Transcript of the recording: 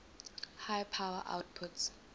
high power outputs